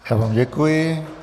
Já vám děkuji.